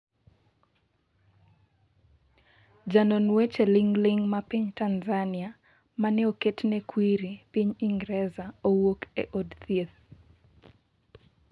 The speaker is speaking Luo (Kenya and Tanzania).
Janon weche ling'ling ma piny Tanzania mane oktne kwiri piny Ingreza owuok e od thieth